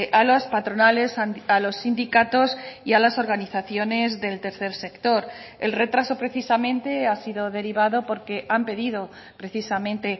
a las patronales a los sindicatos y a las organizaciones del tercer sector el retraso precisamente ha sido derivado porque han pedido precisamente